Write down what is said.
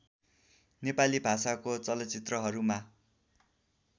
नेपाली भाषाको चलचित्रहरूमा